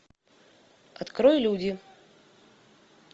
открой люди